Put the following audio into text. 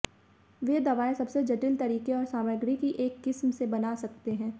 वे दवाओं सबसे जटिल तरीके और सामग्री की एक किस्म से बना सकते हैं